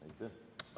Aitäh!